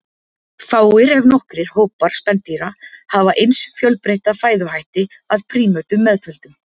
Fáir, ef nokkrir, hópar spendýra hafa eins fjölbreytta fæðuhætti, að prímötum meðtöldum.